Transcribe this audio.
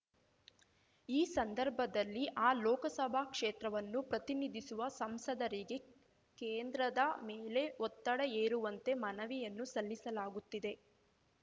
ಈ ಸಂದರ್ಭದಲ್ಲಿ ಆ ಲೋಕಸಭಾ ಕ್ಷೇತ್ರವನ್ನು ಪ್ರತಿನಿಧಿಸುವ ಸಂಸದರಿಗೆ ಕೇಂದ್ರದ ಮೇಲೆ ಒತ್ತಡ ಹೇರುವಂತೆ ಮನವಿಯನ್ನು ಸಲ್ಲಿಸಲಾಗುತ್ತಿದೆ